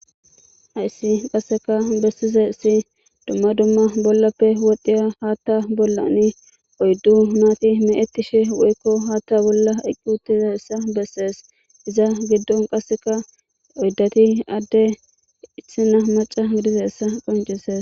Hayis qaseka besizays duma duma bollape wodhiya hatha bollan oyidu nati mechetishe dizayisa woyiko hathabolla eqi utizaysa beses izata gidon qasika oyidati ade qaska issina maca gidoysa qonicises